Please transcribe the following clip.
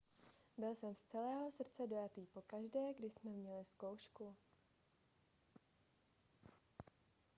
byl jsem z celého srdce dojatý pokaždé když jsme měli zkoušku